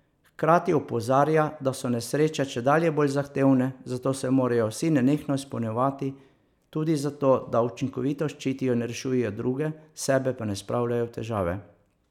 Hkrati opozarja, da so nesreče čedalje bolj zahtevne, zato se morajo vsi nenehno izpopolnjevati tudi zato, da učinkovito ščitijo in rešujejo druge, sebe pa ne spravljajo v težave.